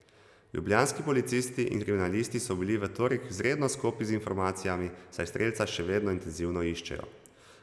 Ljubljanski policisti in kriminalisti so bili v torek izredno skopi z informacijami, saj strelca še vedno intenzivno iščejo.